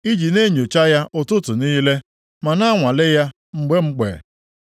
i ji na-enyocha ya ụtụtụ niile, ma na-anwale ya mgbe mgbe?